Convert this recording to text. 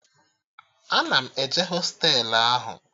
Ana m eje hostelu ahụ